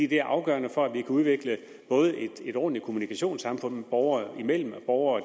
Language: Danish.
det er afgørende for at vi kan udvikle et ordentligt kommunikationssamfund borgere imellem og borgere